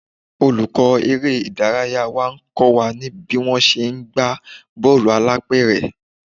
Olùkọ́ eré ìdárayá ń kọ́ wa ní bí wón ṣe ń gbá bọ́ọ̀lù alápẹ̀rẹ̀.